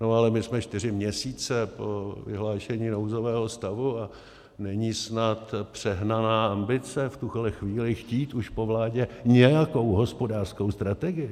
No ale my jsme čtyři měsíce po vyhlášení nouzového stavu a není snad přehnaná ambice v tuhle chvíli chtít už po vládě nějakou hospodářskou strategii.